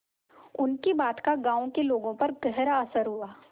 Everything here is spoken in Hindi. उनकी बात का गांव के लोगों पर गहरा असर हुआ